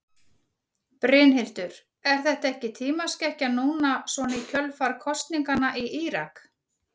Brynhildur: Er þetta ekki tímaskekkja núna svona í kjölfar kosninganna í Írak?